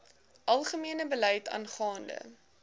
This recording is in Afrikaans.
algemene beleid aangaande